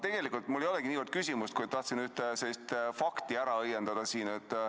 Tegelikult mul ei olegi niivõrd küsimust, kuivõrd tahtsin siin ühe fakti ära õiendada.